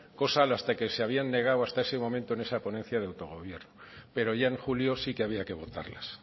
cosa que se habían negado hasta ese momento en esa ponencia de autogobierno pero ya en julio sí que había que votarlas